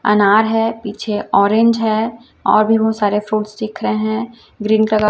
अनार है पीछे ऑरेंज है और भी बहोत सारे फ्रूट्स दिख रहे हैं ग्रीन कलर --